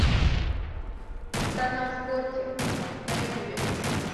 канал скорти на ютубе